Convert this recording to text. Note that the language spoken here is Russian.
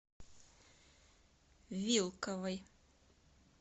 вилковой